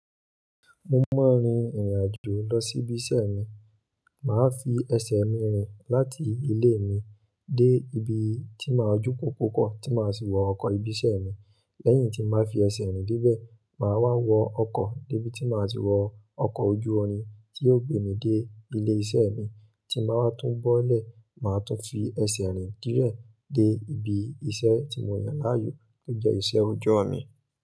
Mo máa ń rin ìrìnàjò lọ sí ibi iṣẹ́ mi. Màá fi ẹsẹ̀ mi rìn láti ilé mi dé ibi tí màá jókòókòó kọ́ tí màá sì wọ ọkọ̀ ibi iṣẹ́ mi. Lẹ́yìn tí màá fi ẹsẹ̀ rìn dé bẹ̀, màá wá wọ ọkọ̀ dé ibi tí màá ti wọ ọkọ̀ ojú-orin tí yóò gbé mi dé ilé iṣẹ́ mi. Tí n bàá wá tún bọ́lẹ̀, màá tún fi ẹsẹ̀ rìn díẹ̀ de ibi iṣẹ́ tí mò yàn láàyò níbi ìṣẹ́ oojọ mi.